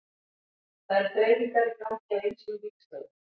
Það eru þreifingar í gangi á ýmsum vígstöðvum.